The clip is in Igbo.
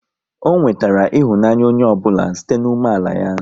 Ọ nwetara ịhụnanya onye ọ bụla site n'umeala ya